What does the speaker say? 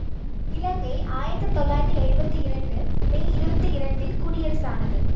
இலங்கை ஆயிரத்தி தொள்ளாயிரத்தி எழுவத்தி இரண்டு மே இருபத்தி இரண்டில் குடியரசானது